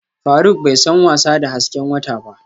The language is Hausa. Faruk bai san wasa da hasken wata ba